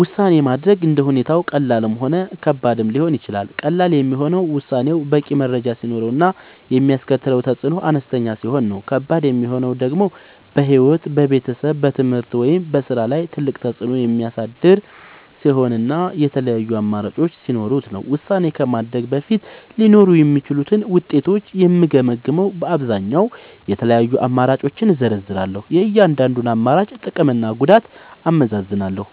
ውሳኔ ማድረግ እንደ ሁኔታው ቀላልም ሆነ ከባድም ሊሆን ይችላል። ቀላል የሚሆነው ውሳኔው በቂ መረጃ ሲኖረው እና የሚያስከትለው ተፅዕኖ አነስተኛ ሲሆን ነው። ከባድ የሚሆነው ደግሞ በሕይወት፣ በቤተሰብ፣ በትምህርት ወይም በሥራ ላይ ትልቅ ተፅዕኖ የሚያሳድር ሲሆን እና የተለያዩ አማራጮች ሲኖሩት ነው። ውሳኔ ከማድረግ በፊት ሊኖሩ የሚችሉትን ውጤቶች የምገመግመዉ በአብዛኛዉ፦ የተለያዩ አማራጮችን እዘረዝራለሁ። የእያንዳንዱን አማራጭ ጥቅምና ጉዳት አመዛዝናለሁ።